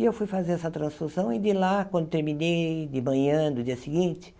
E eu fui fazer essa transfusão e de lá, quando terminei, de manhã, do dia seguinte,